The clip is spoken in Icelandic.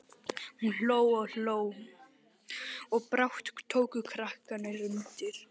Hún hló og hló og brátt tóku krakkarnir undir.